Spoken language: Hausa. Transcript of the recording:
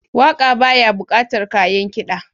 Waƙa baya buƙatar kayan kida.